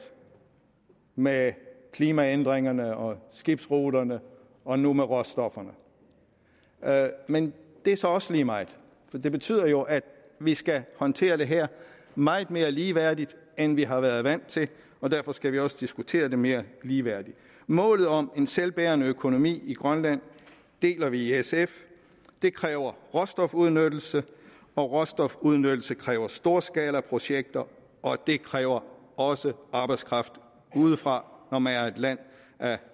med klimaændringerne og skibsruterne og nu med råstofferne men det er så også lige meget for det betyder jo at vi skal håndtere det her meget mere ligeværdigt end vi har været vant til derfor skal vi også diskutere det mere ligeværdigt målet om en selvbærende økonomi i grønland deler vi i sf det kræver råstofudnyttelse og råstofudnyttelse kræver storskalaprojekter og det kræver også arbejdskraft udefra når man er et land af